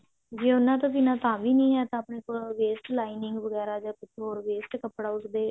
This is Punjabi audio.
ਜੇ ਉਹਨਾਂ ਤੋਂ ਬਿਨਾ ਤਾਂ ਵੀ ਨਹੀ ਹੈ ਤਾਂ ਆਪਣੇ ਕੋਲ waste lining ਵਗੇਰਾ ਜਾਂ ਕੁਛ ਹੋਰ waste ਕੱਪੜਾ ਉਸਦੇ